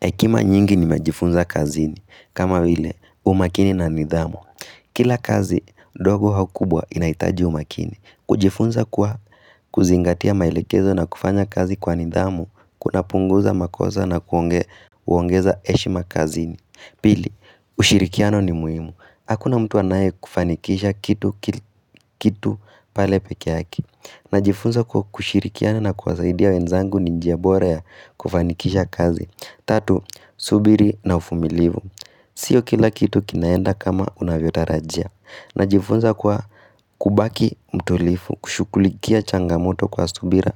Ekima nyingi nimejifunza kazini, kama vile umakini na nidhamu. Kila kazi dogo hau kubwa inaitaji umakini. Kujifunza kwa kuzingatia maelekezo na kufanya kazi kwa nidhamu kunapunguza makosa na kuongeza eshma kazini. Pili, ushirikiano ni muhimu. Hakuna mtu anaye kufanikisha kitu kil kitu pale peke yaki Najifunza kwa kushirikiana na kuwasaidia wenzangu ni njia bora ya kufanikisha kazi. Tatu, subiri na ufumilivu Sio kila kitu kinaenda kama unavyotarajia. Najifunza kwa kubaki mtulifu, kushukulikia changamoto kwa subira